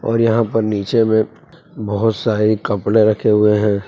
और यहां पर नीचे में बहोत सारी कपड़े रखे हुए हैं।